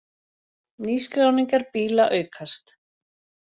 Nýskráningar bíla aukast